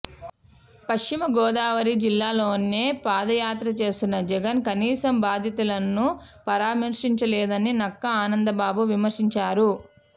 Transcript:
పశ్చిమ గోదావరి జిల్లాలోనే పాదయాత్ర చేస్తున్న జగన్ కనీసం బాధితులను పరిమర్శించలేదని నక్కా ఆనందబాబు విమర్శించారు